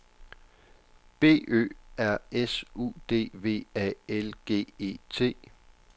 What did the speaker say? B Ø R S U D V A L G E T